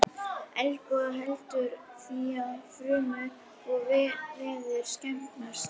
Ebóla veldur því að frumur og vefir skemmast.